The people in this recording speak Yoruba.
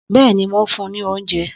Bẹ́ẹ̀ni, mò ń fún ní óúnjẹ